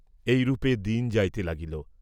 এইরূপে দিন যাইতে লাগিল।